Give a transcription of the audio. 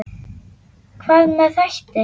Hvað með þætti?